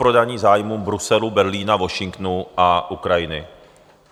Zaprodaní zájmům Bruselu, Berlína, Washingtonu a Ukrajiny.